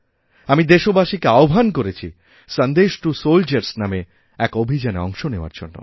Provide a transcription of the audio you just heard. আমি দেশবাসীকে আহ্বান করেছি সন্দেশ টু সোলজারস্ নামে একঅভিযানে অংশ নেওয়ার জন্য